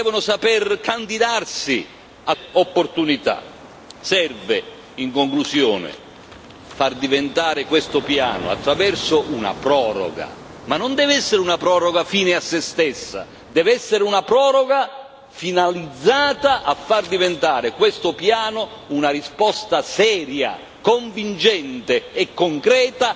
Serve, in conclusione, far diventare questo piano, attraverso una proroga, ma non deve essere una proroga fine a se stessa, deve essere una proroga finalizzata a far diventare questo piano una risposta seria, convincente e concreta alla crisi economica e sociale che vive profondamente l'Europa.